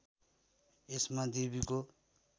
यसमा देवीको